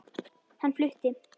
Hann flutti